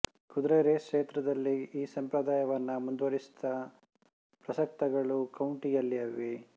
ಕುದುರೆ ರೇಸ್ ಕ್ಷೇತ್ರದಲ್ಲಿ ಈ ಸಂಪ್ರದಾಯವನ್ನು ಮುಂದುವರಿಸುತ್ತಾ ಪ್ರಸಕ್ತ ಗಳು ಕೌಂಟಿಯಲ್ಲಿವೆ